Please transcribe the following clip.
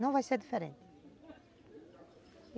Não vai ser diferente.